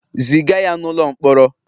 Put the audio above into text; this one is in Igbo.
Ziga ya n'ụlọ mkpọrọ!